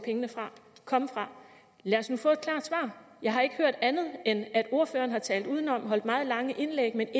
komme fra lad os nu få et klart svar jeg har ikke hørt andet end at ordføreren har talt udenom og holdt meget lange indlæg men